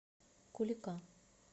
кулика